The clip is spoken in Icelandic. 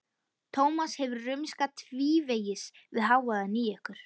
Tómas hefur rumskað tvívegis við hávaðann í ykkur.